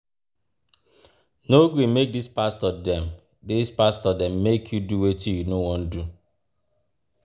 No gree make dis pastor dem dis pastor dem make you do wetin you no wan do.